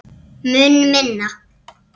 Mun minna.